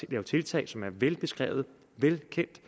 at lave tiltag som er velbeskrevne og velkendte i